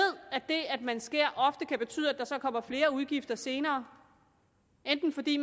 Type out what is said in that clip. at det at man skærer ofte kan betyde at der så kommer flere udgifter senere enten fordi